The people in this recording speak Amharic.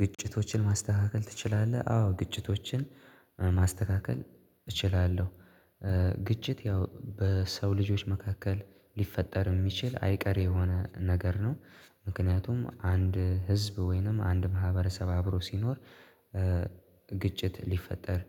ግጭቶችን ማስተካከል ትችላለህ? አዎ ግጭቶችን ማስተካከል እችላለሁ። ግጭት ያው በሰው ልጆች መካከል ሊፈጠር የሚችል አይቀሬ የሆነ ነገር ነው። ምክንያቱም አንድ ህዝብ ወይንም አንድ ማህበረሰብ አብሮ ሲኖር ግጭት ሊፈጠር